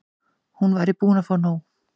Hún væri búin að fá nóg.